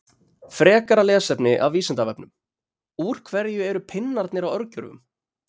Frekara lesefni af Vísindavefnum: Úr hverju eru pinnarnir á örgjörvum?